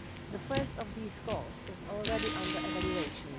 The first of these calls is already under evaluation.